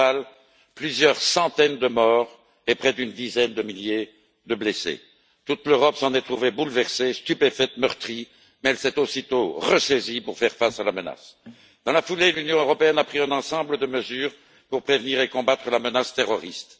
Au total, plusieurs centaines de morts et près d'une dizaine de milliers de blessés. Toute l'Europe s'en est trouvée bouleversée et stupéfaite, meurtrie, mais elle s'est aussitôt ressaisie pour faire face à la menace. Dans la foulée, l'Union européenne a pris un ensemble de mesures pour prévenir et combattre la menace terroriste.